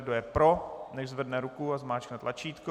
Kdo je pro, nechť zvedne ruku a zmáčkne tlačítko.